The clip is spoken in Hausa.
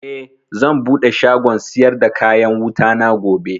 Eh, zan buɗe shagon siyar da kayan wutana gobe